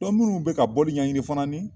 munnu bɛ ka bɔli ɲɛɲini fana ni